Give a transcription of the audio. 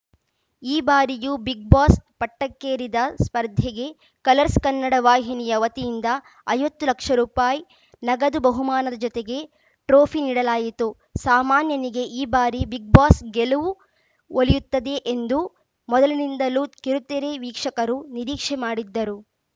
ಈ ಬಾರಿಯೂ ಬಿಗ್‌ಬಾಸ್‌ ಪಟ್ಟಕ್ಕೇರಿದ ಸ್ಪರ್ಧಿಗೆ ಕಲರ್ಸ್‌ ಕನ್ನಡ ವಾಹಿನಿಯ ವತಿಯಿಂದ ಐವತ್ತು ಲಕ್ಷ ರುಪಾಯಿ ನಗದು ಬಹುಮಾನದ ಜತೆಗೆ ಟ್ರೋಫಿ ನೀಡಲಾಯಿತು ಸಾಮಾನ್ಯನಿಗೆ ಈ ಬಾರಿ ಬಿಗ್‌ ಬಾಸ್‌ ಗೆಲುವು ಒಲಿಯುತ್ತದೆ ಎಂದು ಮೊದಲಿನಿಂದಲೂ ಕಿರುತೆರೆ ವೀಕ್ಷಕರು ನಿರೀಕ್ಷೆ ಮಾಡಿದ್ದರು